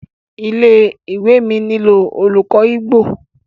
ilé-ìwé mí nilo olùkó Igbo.